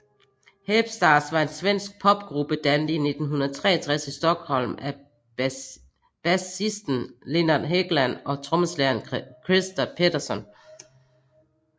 Hep Stars var en svensk popgruppe dannet i 1963 i Stockholm af basisten Lennart Hegland og trommeslageren Christer Pettersson